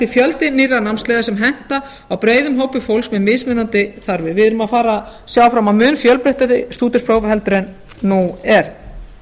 fjöldi nýrra námsleiða sem henta breiðum hópi fólks með mismunandi þarfir við erum að sjá fram á mun fjölbreyttari stúdentspróf heldur en nú er